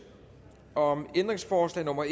om ændringsforslag nummer